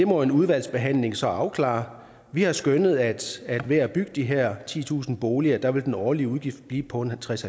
må en udvalgsbehandling så afklare vi har skønnet at ved at bygge de her titusind boliger vil den årlige udgift blive på tres